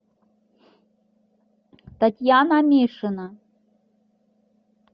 татьяна мишина